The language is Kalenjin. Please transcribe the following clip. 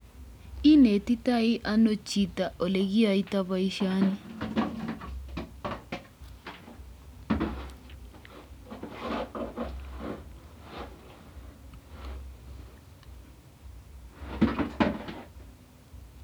Inetitoi ano chito olekiyoitoi boisyoni?